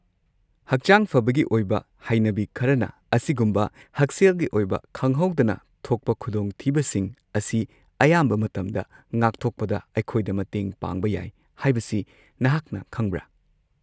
ꯍꯛꯆꯥꯡ ꯐꯕꯒꯤ ꯑꯣꯏꯕ ꯍꯩꯅꯕꯤ ꯈꯔꯅ ꯑꯁꯤꯒꯨꯝꯕ ꯍꯛꯁꯦꯜꯒꯤ ꯑꯣꯏꯕ ꯈꯪꯍꯧꯗꯅ ꯊꯣꯛꯄ ꯈꯨꯗꯣꯡꯊꯤꯕꯁꯤꯡ ꯑꯁꯤ ꯑꯌꯥꯝꯕ ꯃꯇꯝꯗ ꯉꯥꯛꯊꯣꯛꯄꯗ ꯑꯩꯈꯣꯏꯗ ꯃꯇꯦꯡ ꯄꯥꯡꯕ ꯌꯥꯏ ꯍꯥꯏꯕꯁꯤ ꯅꯍꯥꯛꯅ ꯈꯪꯕ꯭ꯔꯥ?